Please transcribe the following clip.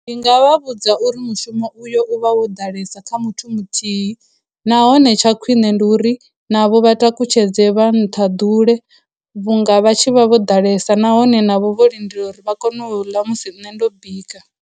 Ndi nga vha vhudza uri mushumo uyo u vha wo ḓalesa kha muthu muthihi, nahone tsha khwine ndi uri na vho vha takutshedze vha nṱhaḓurele vhu nga vha tshi vha vho ḓalesa nahone na vho vho lindela uri vha kone u ḽa musi nṋe ndo bika.